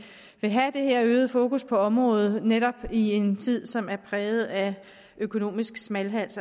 det her øgede fokus på området netop i en tid som er præget af økonomisk smalhals